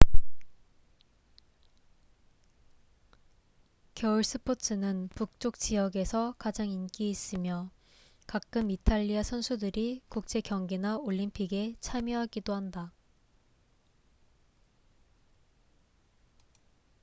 겨울 스포츠는 북쪽 지역에서 가장 인기 있으며 가끔 이탈리아 선수들이 국제 경기나 올림픽에 참여하기도 한다